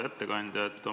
Hea ettekandja!